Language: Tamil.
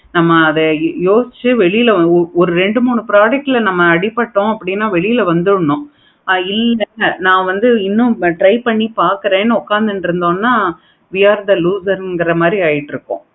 நம்ம அத யோசிச்சி வெளில வரணும். ஒரு product ல ஆதி பட்டோம் அப்படின்னா வெளிய வந்துரனும். இல்ல நா வந்து இன்னும் drive பண்ணி பார்க்குறேன் உட்கார்ந்திங்கனா we are the loser னு அப்படிங்கிற மாதிரி ஆகிடும்.